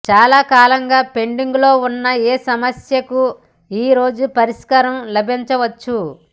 చాలా కాలంగా పెండింగులో ఉన్న ఏ సమస్యకు ఈరోజు పరిష్కారం లభించవచ్చు